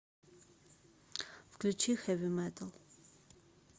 включи хэви метал